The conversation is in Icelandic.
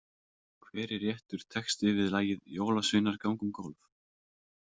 Hver er réttur texti við lagið „Jólasveinar ganga um gólf“ ?